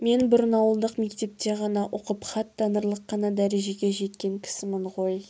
мен бұрын ауылдық мектепте ғана оқып хат танырлық қана дәрежеге жеткен кісімін ғой